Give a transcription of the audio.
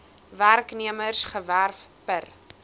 werknemers gewerf per